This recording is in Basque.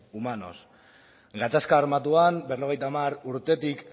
humanos gatazka armatuan berrogeita hamar urtetik